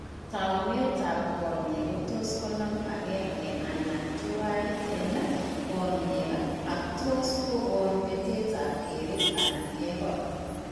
Taakunetaab konyek kotos konam agenge anan tuwan en konyek ak tos kokoon betetap keret anan kekor